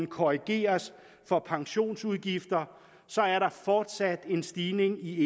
korrigeres for pensionsudgifter er der fortsat en stigning i